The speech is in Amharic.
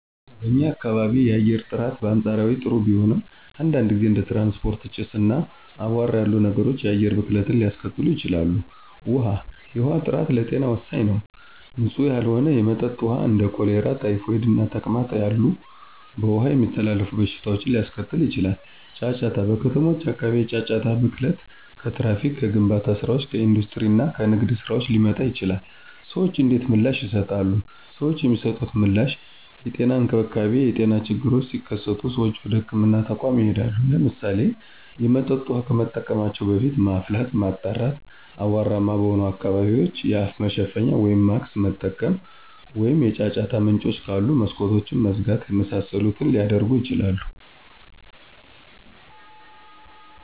*በኛ ካባቢ የአየር ጥራት: በአንፃራዊነት ጥሩ ቢሆንም፣ አንዳንድ ጊዜ እንደ ትራንስፖርት ጭስ፣ እና አቧራ ያሉ ነገሮች የአየር ብክለትን ሊያስከትሉ ይችላሉ። ውሀ፦ የውሃ ጥራት ለጤና ወሳኝ ነው። ንፁህ ያልሆነ የመጠጥ ውሃ እንደ ኮሌራ፣ ታይፎይድ እና ተቅማጥ ያሉ በውሃ የሚተላለፉ በሽታዎችን ሊያስከትል ይችላል። * ጫጫታ: በከተሞች አካባቢ የጫጫታ ብክለት ከትራፊክ፣ ከግንባታ ስራዎች፣ ከኢንዱስትሪ እና ከንግድ ስራዎች ሊመጣ ይችላል። ሰዎች እንዴት ምላሽ ይሰጣሉ? ሰዎች የሚሰጡት ምላሽ * የጤና እንክብካቤ : የጤና ችግሮች ሲከሰቱ ሰዎች ወደ ህክምና ተቋማት ይሄዳሉ። *ለምሳሌ፣ የመጠጥ ውሃ ከመጠቀማቸው በፊት ማፍላት፣ ማጣራት፣ አቧራማ በሆኑ አካባቢዎች የአፍ መሸፈኛ (ማስክ) መጠቀም፣ ወይም የጫጫታ ምንጮች ካሉ መስኮቶችን መዝጋት የመሳሰሉትን ሊያደርጉ ይችላሉ።